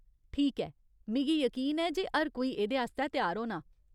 ठीक ऐ, मिगी यकीन ऐ जे हर कोई एह्दे आस्तै त्यार होना।